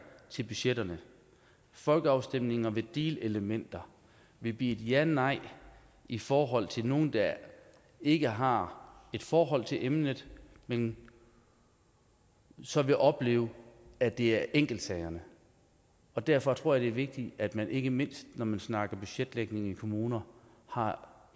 til budgetterne folkeafstemninger med de elementer vil blive et janej i forhold til nogle der ikke har et forhold til emnet men så vil opleve at det er enkeltsagerne derfor tror jeg vigtigt at man ikke mindst når man snakker budgetlægningen i kommuner har